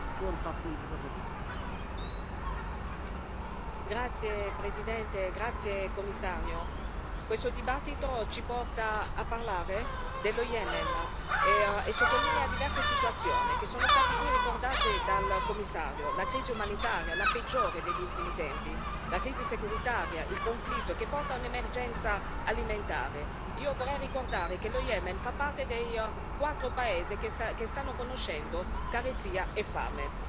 Signor Presidente, onorevoli colleghi, signor Commissario, questo dibattito ci porta a parlare dello Yemen e sottolinea diverse situazioni che sono state qui ricordate dal Commissario la crisi umanitaria, la peggiore degli ultimi tempi, la crisi securitaria, il conflitto che porta un'emergenza alimentare. Io vorrei ricordare che lo Yemen fa parte dei quattro paesi che stanno conoscendo carestia e fame.